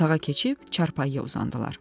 Otağa keçib çarpayıya uzandılar.